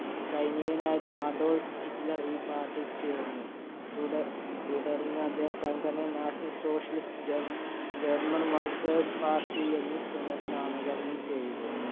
സൈനികനായിരുന്ന Adolf Hitler ഈ party party യിൽ ചേർന്നു. തുട~തുടർന്ന് അദ്ദേഹം സംഘടനയെ national socialist german workers party എന്ന് പുനർനാമകരണം ചെയ്തു.